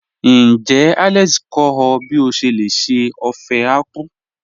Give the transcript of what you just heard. Níjẹ́ Alex kọ ọ̀ bí o ṣé lè ṣè ófẹ̀ àkwụ̀?